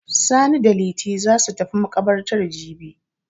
Sani da Liti za su tafi maƙabartar jibi.